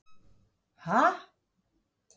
Skúli Sigurjónsson: Ha?